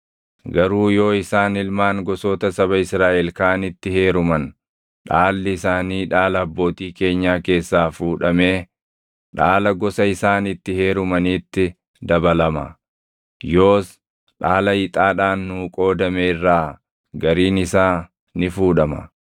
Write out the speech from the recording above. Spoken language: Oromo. Garuu yoo isaan ilmaan gosoota saba Israaʼel kaanitti heeruman dhaalli isaanii dhaala abbootii keenyaa keessaa fuudhamee dhaala gosa isaan itti heerumaniitti dabalama. Yoos dhaala ixaadhaan nuu qoodame irraa gariin isaa ni fuudhama.